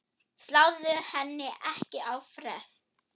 Sláðu henni ekki á frest.